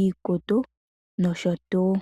iikutu nosho tuu.